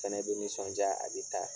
Fɛnɛ bɛ nisɔnja a bɛ taa.